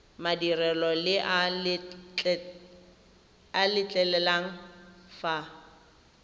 madirelo le a letlelela fa